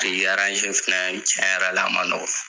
Biriki fɛnɛɛ tiɲɛ yɛrɛ la a ma nɔgɔn.